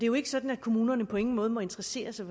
jo ikke sådan at kommunerne på ingen måde må interessere sig